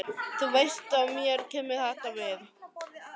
Þú veist að mér kemur þetta við.